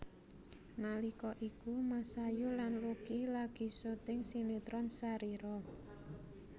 Nalika iku Masayu lan Lucky lagi syuting sinetron Sharira